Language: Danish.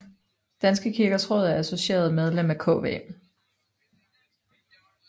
Danske Kirkers Råd er associeret medlem af KV